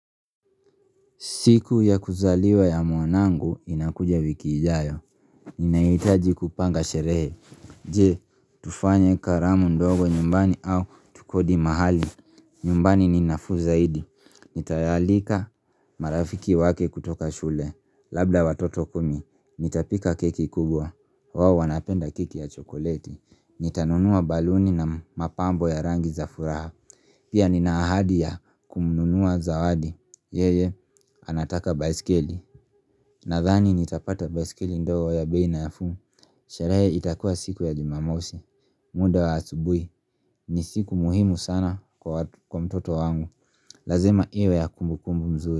Siku ya kuzaliwa ya mwanangu inakuja wiki ijayo. Ninahitaji kupanga sherehe. Je, tufanye karamu ndogo nyumbani au tukodi mahali. Nyumbani ni nafuu zaidi. Nitayaalika marafiki wake kutoka shule. Labda watoto kumi. Nitapika keki kubwa. Wao wanapenda keki ya chokoleti. Nitanunua baluni na mapambo ya rangi za furaha. Pia ninaahadi ya kumnunua zawadi. Yeye, anataka baisikeli Nadhani nitapata baisikeli ndogo ya bei nafuu. Sherehe itakua siku ya jumamosi muda wa asubuhi ni siku muhimu sana kwa mtoto wangu Lazima iwe ya kumbukumbu mzuri.